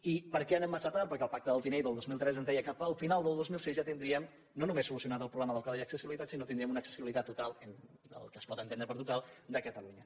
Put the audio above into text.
i per què anem massa tard perquè el pacte del tinell del dos mil tres ens deia que cap al final del dos mil sis ja tindríem no només solucionat el problema del codi d’accessibilitat sinó que tindríem una accessibilitat total el que es pot entendre per total de catalunya